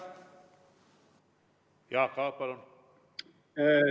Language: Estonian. Jaak Aab, palun!